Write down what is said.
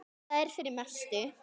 Það er fyrir mestu.